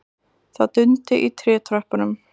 Það dundi í trétröppunum.